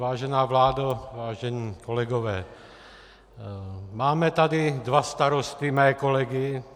Vážená vládo, vážení kolegové, máme tady dva starosty, mé kolegy.